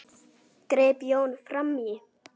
greip Jón fram í.